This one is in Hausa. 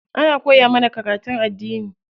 Ana koya mana karatun addini.